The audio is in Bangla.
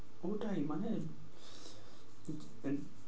পুরোটাই মানে